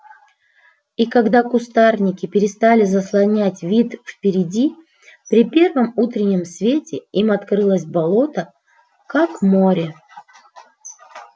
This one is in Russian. и когда кустарники перестали заслонять вид впереди при первом утреннем свете им открылось болото как море